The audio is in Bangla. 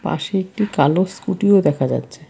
পাশে একটা কালো স্কুটিও দেখা যাচ্ছে।